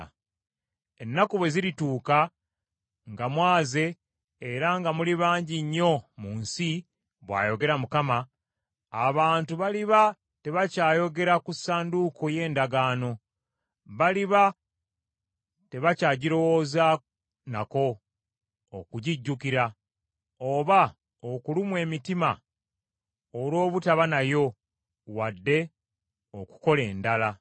Ennaku bwe zirituuka nga mwaze era nga muli bangi nnyo mu nsi,” bw’ayogera Mukama , “abantu baliba tebakyayogera ku Ssanduuko y’Endagaano. Baliba tebakyagirowooza nako, okugijjukira; oba okulumwa emitima olw’obutaba nayo wadde okukola endala.